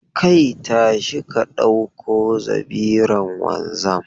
Kai, tashi ka dauko zabiran wanzam.